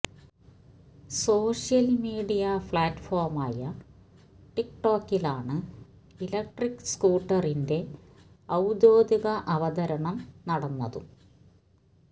social media പ്ലാറ്റ്ഫോമായ ടിക്ക് ടോക്കിലാണ് ഇലക്ട്രിക് സ്കൂട്ടറിന്റെ ഔദ്യോഗിക അവതരണം നടന്നതും